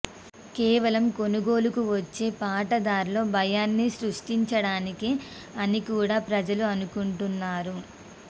కేవలం కొనుగోలుకు వచ్చే పాటదార్లలో భయాన్ని సృష్టించడానికే అని కూడా ప్రజలు అనుకుంటున్నారు